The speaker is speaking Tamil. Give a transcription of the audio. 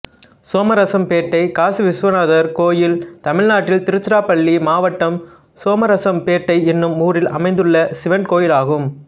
சோமரசம்பேட்டை காசிவிசுவநாதர் கோயில் தமிழ்நாட்டில் திருச்சிராப்பள்ளி மாவட்டம் சோமரசம்பேட்டை என்னும் ஊரில் அமைந்துள்ள சிவன் கோயிலாகும்